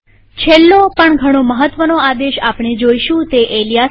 છેલ્લો પણ ઘણો મહત્વનો આદેશ આપણે જોઈશું તે છે એલીયાસ આદેશ